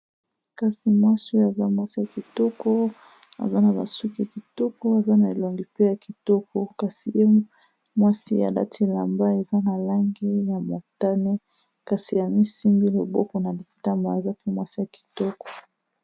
kasi mwasi oyo aza mwasi ya kitoko aza na basuki kitoko aza na elongi pe ya kitoko kasi ye mwasi a lati lamba eza na lange ya motane kasi ya misimbi loboko na litama aza pe mwasi ya kitoko